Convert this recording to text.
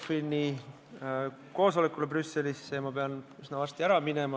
Ma pean üsna varsti ära minema, et lennata ECOFIN-i koosolekule Brüsselisse.